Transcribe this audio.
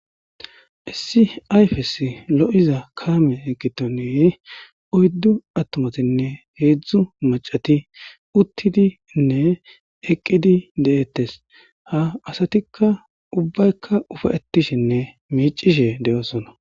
Issi ayfes lo'iza kaame eqqitoneye oyddu attomatinne heedzdzu macati uttidinne eqqidi de'ettes ha asatikka ubbaykka ufayetishinne miicishe de'oosona.